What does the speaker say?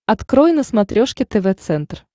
открой на смотрешке тв центр